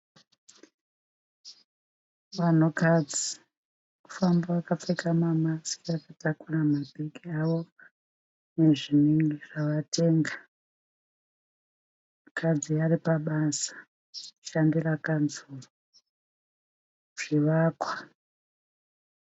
Vanhukadzi vari kufamba vakapfeka mamasiki vakatakura mabhegi avo nezvinhu zvavatenga. Mukadzi ari pabasa kushandira kanzuru. Zvivakwa.